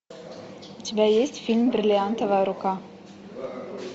у тебя есть фильм бриллиантовая рука